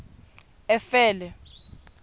efele